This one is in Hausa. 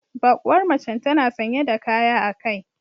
Bakuwar macen tana sanye da kaya a kai